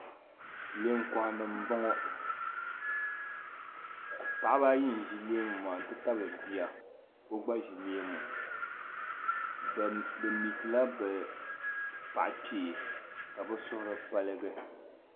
Leemu kohanima m-bɔŋɔ paɣaba ayi n-ʒi leemu maa n-tabili bia ka o gba ʒi leemu be meeti la be paɣa kpee ka be suhiri paligi.